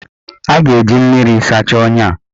A ga-eji mmiri sachaa ọnya a.